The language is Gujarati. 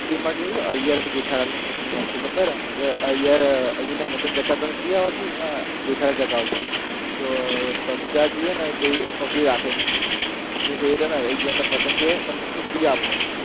માં જોયું અય્યર અને જેઠાલાલનું શું scene હોય છે ખબર અય્યર, અય્યરને પતંગ જતા નથી આવતી એમાં જેઠાલાલ , તો બબીતાજી હે ને તે પકડી રાખે એમની ફીરકી અય્યરને પતંગને કઈ છૂટી આપો